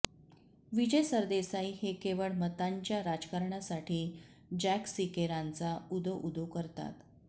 विजय सरदेसाई हे केवळ मतांच्या राजकारणासाठी जॅक सिकेरांचा उदोउदो करतात